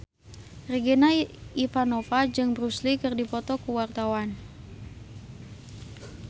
Regina Ivanova jeung Bruce Lee keur dipoto ku wartawan